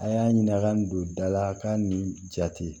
A y'a ɲininka a ka n don da la ka nin jate